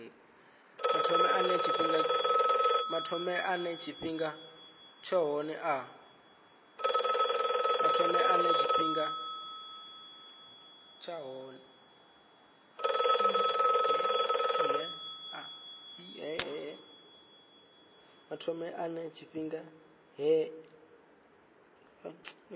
mathomele ane tshifhinga tshohe a